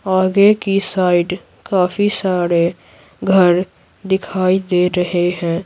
आगे की साइड काफी सारे घर दिखाई दे रहे हैं।